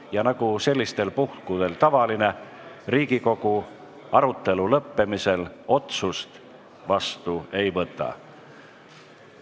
Ja nagu sellistel puhkudel tavaline, Riigikogu arutelu lõppemisel otsust vastu ei võta.